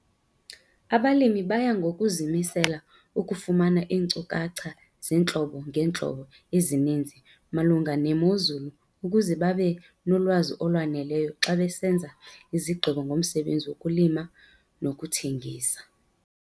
Abalimi baya ngokuzimisela ukufumana iinkcukacha zeentlobo ngeentlobo ezininzi malunga nemozulu ukuze babe nolwazi olwaneleyo xa besenza izigqibo ngomsebenzi wokulima nokuthengisa.